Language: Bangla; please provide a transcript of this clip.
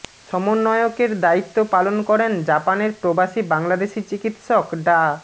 সমন্বয়কের দায়িত্ব পালন করেন জাপান প্রবাসী বাংলাদেশি চিকিৎসক ডা